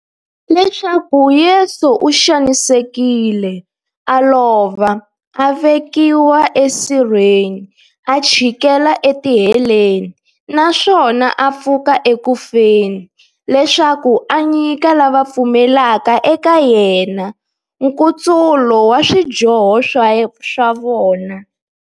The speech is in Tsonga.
Leswaku Yesu u xanisekile, a lova, a vekiwa esirheni, a chikela etiheleni, naswona a pfuka eku feni, leswaku a nyika lava va pfumelaka eka yena, nkutsulo wa swidyoho swa vona.